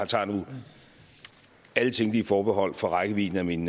tager nu alle tænkelige forbehold for rækkevidden af min